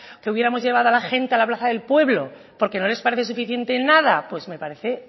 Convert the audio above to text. que hubiéramos llevado a la gente a la plaza del pueblo porque no les parece suficiente en nada pues me parece